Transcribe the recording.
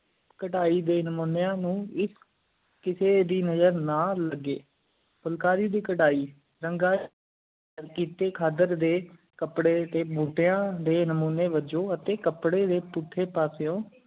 ਕਦਾਈਂ ਡੇ ਨਾਮੋਨੀਆਂ ਨੂੰ ਇਕ ਕਿਸੀ ਦੀ ਨਜ਼ਰ ਨਾ ਲੱਗੀ ਫੁਲਕਾਰੀ ਦੀ ਕਰਹਿ ਰੰਗ ਫੁਲਕਾਰੀ ਦੀ ਕਰਹਿ ਰੰਗ ਖੱਦਰ ਡੇ ਕਾਪੜੀ ਟੀ ਬੋਟੀਆਂ ਡੇ ਨੋਮਾਨ੍ਯ ਵੱਜੋਂ ਅੱਟੀ ਕਾਪੜੀ ਡੇ ਪੁਦਿ ਪਾਸ